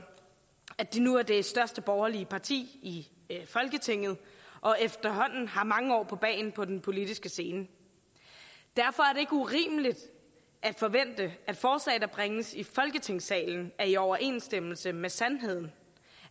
at de nu er det største borgerlige parti i folketinget og efterhånden har mange år på bagen på den politiske scene derfor er det ikke urimeligt at forvente at forslag der bringes i folketingssalen er i overensstemmelse med sandheden